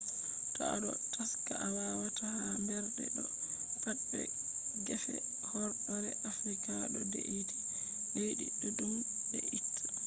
to a ɗo taska a wata ha mbernde do pat be gefe horɗoore afrika ɗo de’iti leddi ɗuɗɗum de’itai